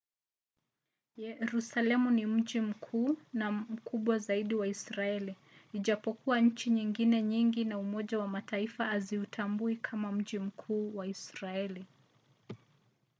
yerusalemu ni mji mkuu na mkubwa zaidi wa israeli ijapokuwa nchi nyingine nyingi na umoja wa mataifa haziutambui kama mji mkuu wa israeli